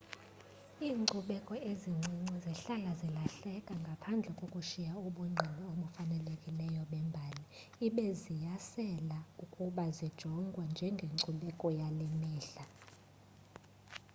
iinkcubeko ezincinci zihlala zilahleka ngaphandle kokushiya ubungqina obufanelekileyo bembali ibe ziyaselela ukuba zijongwe njengencubeko yale mihla